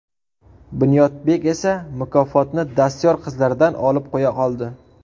Bunyodbek esa mukofotni dastyor qizlardan olib qo‘ya qoldi.